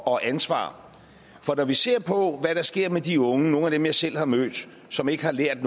og ansvar for når vi ser på hvad der sker med de unge nogle af dem jeg selv har mødt som ikke har lært